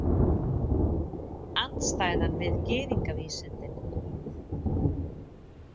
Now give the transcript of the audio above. Andstæðan við gyðingavísindin.